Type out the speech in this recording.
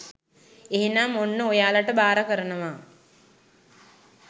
එහෙනම් ඔන්න ඔයාලට බාර කරනවා